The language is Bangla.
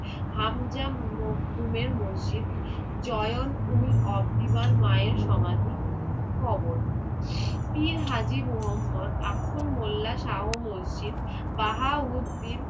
হামজা মকদুমের মসজিদ, জয়ন উল অবদিমান মায়ের সমাধি, কবর, পীর হাজী মোহাম্মদ আখন্দ মোল্লা শাহ মসজিদ, বাহাউদ্দিন